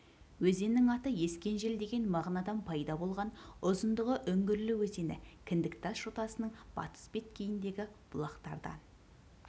өзеннің аты ескен жел деген мағынадан пайда болған ұзындығы үңгірлі өзені кіндіктас жотасының батыс беткейіндегі бұлақтардан